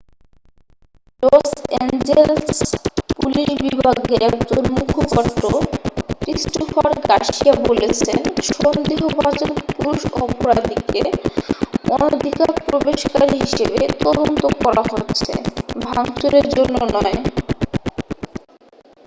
loss Angeles police বিভাগের একজন মুখপাত্র ক্রিস্টোফার গার্সিয়া বলেছেন সন্দেহভাজন পুরুষ অপরাধীকে অনধিকারপ্রবেশকারী হিসেবে তদন্ত করা হচ্ছে ভাঙচুরের জন্য নয়